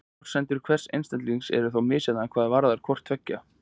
forsendur hvers einstaklings eru þó misjafnar hvað varðar hvort tveggja